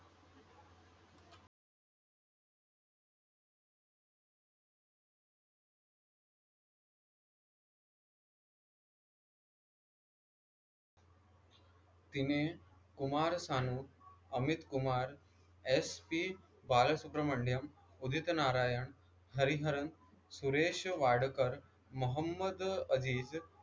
तिने Kumar Sanu, Amit Kumar, S. P. Balasubrahmanyam, Udit Narayan, Hariharan, Suresh Wadkar, Mohammed अज़ीज़,